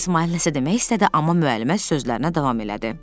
İsmayıl nəsə demək istədi, amma müəllimə sözlərinə davam elədi.